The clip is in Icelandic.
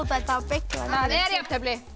þetta var beyglað það er jafntefli